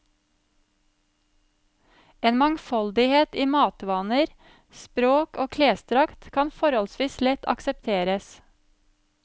En mangfoldighet i matvaner, språk og klesdrakt kan forholdsvis lett aksepteres.